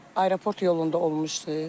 Aeroport yolunda olmuşdu.